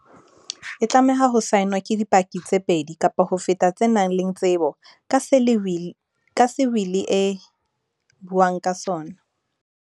E tlameha ho saenwa ke di paki tse pedi kapa ho feta tse nang le tsebo ka se wili e buang ka sona.